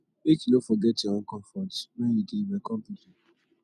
make you no forget your own comfort wen you dey welcome pipu